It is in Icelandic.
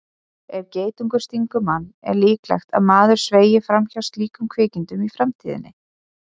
Ef geitungur stingur mann er líklegt að maður sveigi fram hjá slíkum kvikindum í framtíðinni.